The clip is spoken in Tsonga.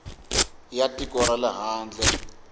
ya tiko ra le handle